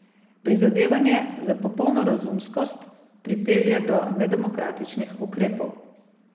Prizadevanje za popolno razumskost pripelje do nedemokratičnih ukrepov.